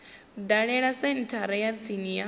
dalele senthara ya tsini ya